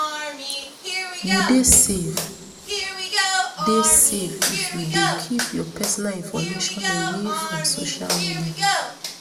you dey safe dey safe if you dey keep your personal information away from social media